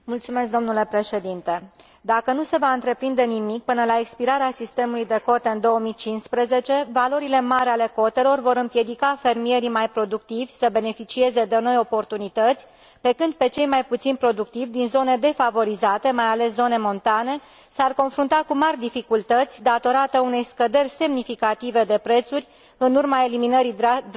Dacă nu se va întreprinde nimic până la expirarea sistemului de cote în 2015, valorile mari ale cotelor vor împiedica fermierii mai productivi să beneficieze de noi oportunități, pe când cei mai puțin productivi din zone defavorizate, mai ales zone montane, s ar confrunta cu mari dificultăți datorate unei scăderi semnificative de prețuri în urma eliminării drastice a sistemului de cote.